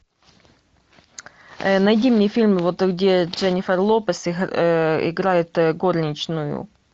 найди мне фильм вот где дженифер лопес играет горничную